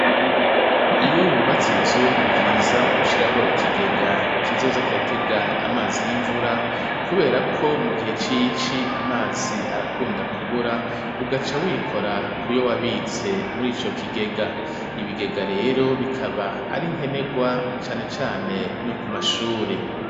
Iyo wubatse inzu ni vyiza gushyiraho ikigega kizoza kiratega amazi y'imvura kubera ko mu gihe cici amazi arakunda kubura ugaca wikora kuyo wabitse murico kigega ibigega rero bikaba ari nkenegwa cane cane no ku mashuri